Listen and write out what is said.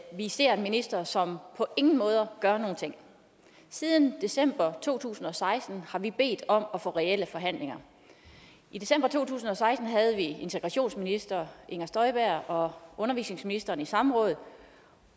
vi ser en minister som på ingen måde gør noget siden december to tusind og seksten har vi bedt om at få reelle forhandlinger i december to tusind og seksten havde vi integrationsministeren og undervisningsministeren i samråd